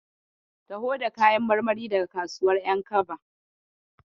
Taho da kayan marmari daga kasuwar ƴankaba.